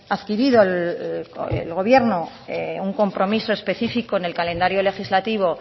adquirido el gobierno un compromiso especifico en el calendario legislativo